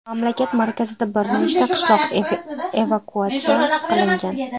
Mamlakat markazida bir nechta qishloq evakuatsiya qilingan.